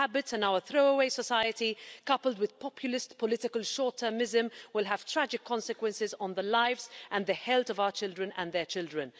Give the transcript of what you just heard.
Our habits and our throwaway society, coupled with populist political short-termism, will have tragic consequences on the lives and the health of our children and their children.